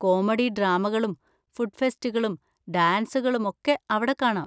Comedy ഡ്രാമകളും food ഫെസ്റ്റുകളും ഡാൻസുകളും ഒക്കെ അവിടെ കാണാം.